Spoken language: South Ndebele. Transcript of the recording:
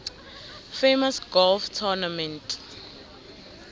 famous golf tournament